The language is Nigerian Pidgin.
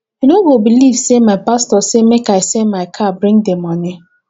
you no go beliv sey my pastor say make i sell my car bring di moni